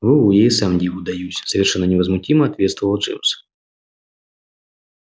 во-во я и сам диву даюсь совершенно невозмутимо ответствовал джимс